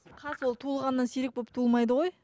қас ол туылғаннан сирек болып туылмайды ғой